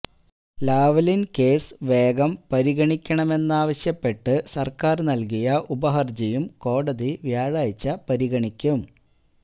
Lavalin case വേഗം പരിഗണിക്കണമെന്നാവശ്യപ്പെട്ട് സര്ക്കാര് നല്കിയ ഉപഹര്ജിയും കോടതി വ്യാഴാഴ്ച പരിഗണിക്കും